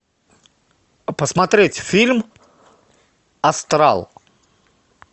посмотреть фильм астрал